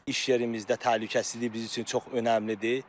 İş yerimizdə təhlükəsizlik bizim üçün çox önəmlidir.